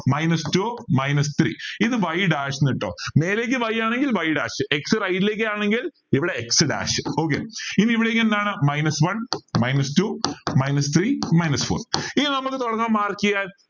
minus two minus three ഇത് y dash ന്ന് ഇട്ടോ മേലേക്ക് Y ആണെങ്കിൽ y dash x right ലേക്ക് ആണെങ്കിൽ ഇവിടെ x dash okay ഇനി ഇവിടേക്ക് എന്താണ് minus one minus two minus three minus four ഇനി നമുക്ക് തുടങ്ങാം mark ചെയ്യാൻ